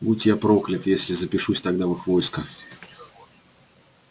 будь я проклят если запишусь тогда в их войско